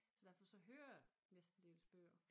Så derfor så hører jeg mestendels bøger